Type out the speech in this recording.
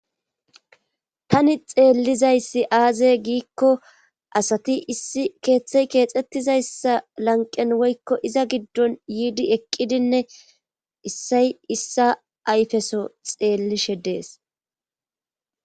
tani xeellizayssi aaze giikko asati issi keeththey keexxettizayssa lanqen woykko iza giddon yiidi eqqidinne issay issa ayfeso xeellishe dees